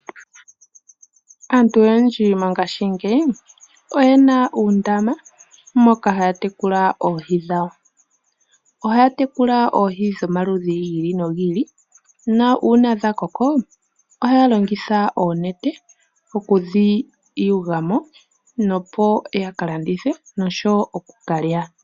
Aantu oyendji mongaashingeyi oyena uundama moka haya tekula oohi dhawo. Ohaya tekula oohi dho maludhi gi ili no gi ili, na uuna dha koko ohaya longitha oonete oku dhi yugamo nopo yaka landithe nosho wo oku kalya.